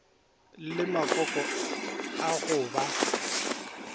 le makoko a go ba